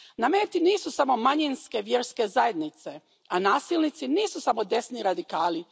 Na meti nisu samo manjinske vjerske zajednice, a nasilnici nisu samo desni radikali.